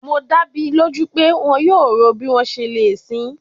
Mo da mi loju pe wọn yoo ro bi wọn ṣe le sin i